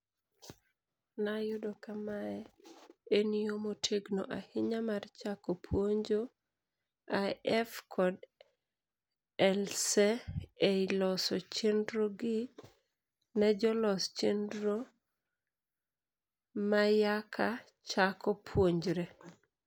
Nayudo ka mae en yo motegno ahinya mar chako puonjo IF kod ELSE ei loso chenrogi ne jolos chenro mayaka chako puonjre.